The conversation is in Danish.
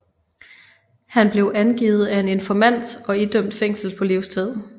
Han blev angivet af en informant og idømt fængsel på livstid